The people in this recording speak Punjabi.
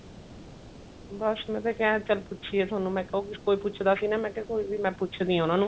ਬੱਸ ਮੈਂ ਤਾਂ ਕਿਹਾ ਚੱਲ ਪੁੱਛੀਏ ਤੁਹਾਨੂੰ ਮੈਂ ਕਿਹਾ ਉਹ ਕੋਈ ਪੁੱਛਦਾ ਸੀ ਨਾ ਮੈਂ ਕਿਹਾ ਕੋਈ ਨਹੀਂ ਮੈਂ ਪੁੱਛਦੀ ਆ ਉਹਨਾ ਨੂੰ